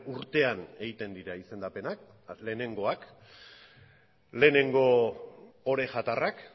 urtean egiten dira izendapenak lehenengoak lehenengo orejatarrak